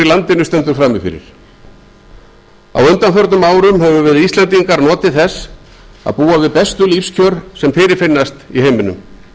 landinu stendur frammi fyrir á undanförnum árum höfum við íslendingar notið þess að búa við bestu lífskjör sem fyrirfinnast í heiminum